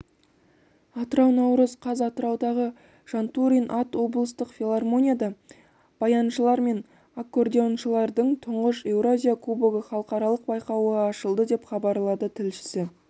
атырау наурыз қаз атыраудағы жантурин ат облыстық филармонияда баяншылар мен аккордеоншылардың тұңғыш еуразия кубогы халықаралық байқауы ашылды деп хабарлады тілшісі